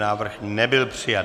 Návrh nebyl přijat.